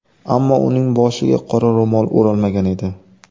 Ammo uning boshiga qora ro‘mol o‘ralmagan edi.